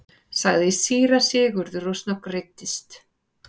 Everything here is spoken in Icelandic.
sagði síra Sigurður og snöggreiddist.